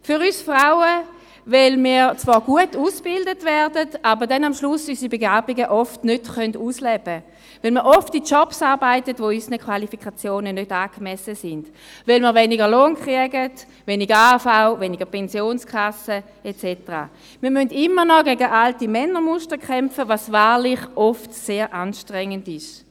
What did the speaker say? Für uns Frauen, weil wir zwar gut ausgebildet werden, aber am Schluss unsere Begabungen nicht ausleben können, weil wir oft in Jobs arbeiten, die unseren Qualifikationen nicht angemessen sind, weil wir weniger Lohn erhalten, weniger AHV- und Pensionskassengelder, etc. Wir müssen immer noch gegen alte Männermuster kämpfen, was wahrlich oft sehr anstrengend ist.